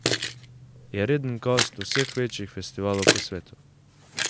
Je reden gost vseh večjih festivalov po svetu.